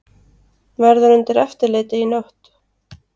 Verður undir eftirliti í nótt